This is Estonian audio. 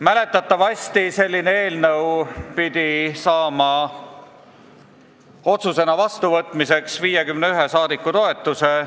Mäletatavasti peab selline eelnõu saama otsusena vastuvõtmiseks 51 saadiku toetuse.